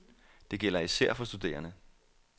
Det gælder især for studerende.